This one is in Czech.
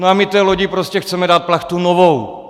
No a my té lodi prostě chceme dát plachtu novou.